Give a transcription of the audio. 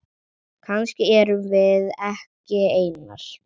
Kannski erum við ekki einar.